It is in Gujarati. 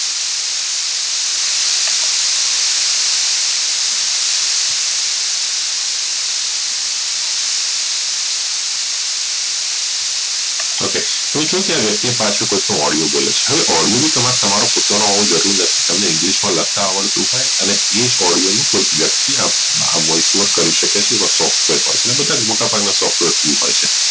ok કોઈ કોઈ video માં પાછળ કોઈ વ્યકતિ બોલે છે હવે એમાં તમારો પોતાનો આવાજ હોવો જરૂરી નથી તમને english માં લખતા આવડતું હોઈ અને આ જ માં કે વ્યકતિ voice over કરી શકે છે આવા software હોઈ છે અને બધા મોટા ભાગના softwar હોઈ છે